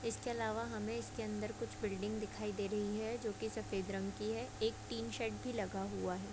इसके अलावा हमें इसके अन्दर कुछ बिल्डिंग दिखाई दे रही है जो की सफेद रंग की है एक टीन शेड भी लगा हुआ है।